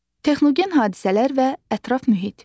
Texnogen hadisələr və ətraf mühit.